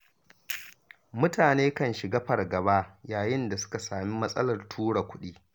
Mutane kan shiga fargaba, yayin da suka sami matsalar tura kuɗi.